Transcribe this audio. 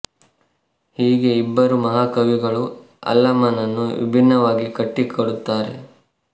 ಹೀಗೆ ಇಬ್ಬರು ಮಹಾ ಕವಿಗಳು ಅಲ್ಲಮನನ್ನು ವಿಭಿನ್ನ ವಾಗಿ ಕಟ್ಟಿ ಕೊಡುತ್ತಾರೆ